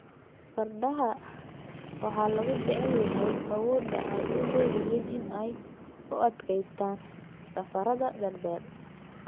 Fardaha waxaa lagu jecel yahay awoodda ay u leeyihiin in ay u adkeystaan ??safarrada dhaadheer.